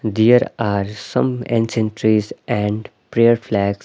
there are some ancient trees and prayer flags.